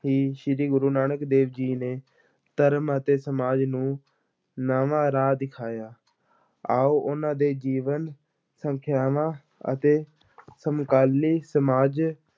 ਹੀ ਸ੍ਰੀ ਗੁਰੂ ਨਾਨਕ ਦੇਵ ਜੀ ਨੇ ਧਰਮ ਅਤੇ ਸਮਾਜ ਨੂੰ ਨਵਾਂ ਰਾਹ ਦਿਖਾਇਆ, ਆਓ ਉਹਨਾਂ ਦੇ ਜੀਵਨ, ਸਿੱਖਿਆਵਾਂ ਅਤੇ ਸਮਕਾਲੀ ਸਮਾਜ